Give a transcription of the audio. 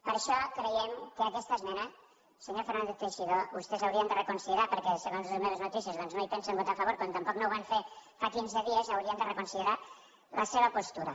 per això creiem que aquesta esmena senyor fernández teixidó vostès l’haurien de reconsiderar perquè segons les meves notícies doncs no hi pensen votar a favor com tampoc no ho van fer fa quinze dies i haurien de reconsiderar la seva postura